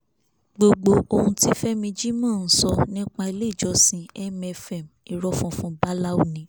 gbogbo ohun tí fẹmi jímọ̀ ń sọ nípa iléèjọsìn mfm irọ́ funfun báláú ni